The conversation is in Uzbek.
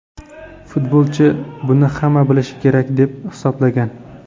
Futbolchi buni hamma bilishi kerak deb hisoblagan.